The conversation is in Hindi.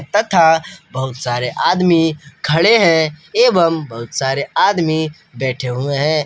तथा बहुत सारे आदमी खड़े हैं एवं बहुत सारे आदमी बैठे हुए हैं।